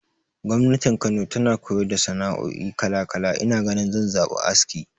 Gwamnati Kano tana koyar da sana'oi kala kala, ina ganin zan zaɓi aski.